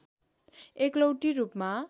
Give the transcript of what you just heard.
एकलौटी रूपमा